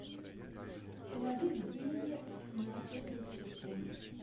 положить деньги на сотовый телефон